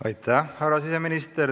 Aitäh, härra siseminister!